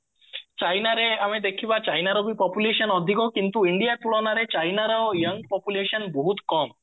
ଚାଇନାରେ ଆମେ ଦେଖିବା ଚାଇନର ବି population ଅଧିକ କିନ୍ତୁ india ତୁଳନାରେ ଚାଇନର young population ବହୁତ କମ